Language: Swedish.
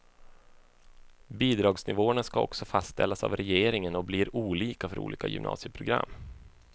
Bidragsnivåerna skall också fastställas av regeringen och blir olika för olika gymnasieprogram.